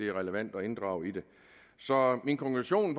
relevant at inddrage i det så min konklusion